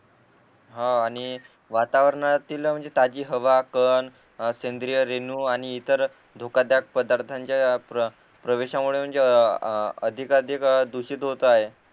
हा आणि वातावरणातील म्हणजे ताजी हवा कण सेंद्रिय रेणू आणि इतर धोकादायक पदार्थाच्या प्रवेशामुळे म्हणजे अधिकाधिक दुषित होत आहे